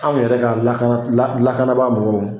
Anw yɛrɛ ka lakana lakabaa mɔgɔw